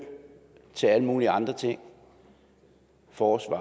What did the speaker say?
til alle mulige andre ting forsvar